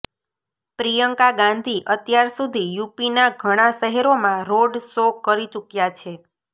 પ્રિયંકા ગાંધી અત્યાર સુધી યૂપીના ઘણા શહેરોમાં રોડ શો કરી ચુક્યા છે